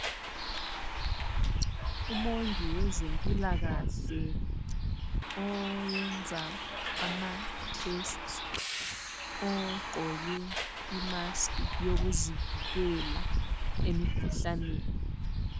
Umongi wezempilakhle oyenza amathesti ogqoki imaskhi yokuzivikela emikhuhlaneni.